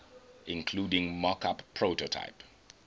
including mockup prototype